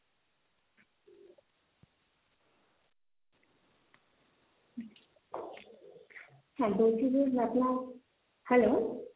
হ্যাঁ বলছি যে hello?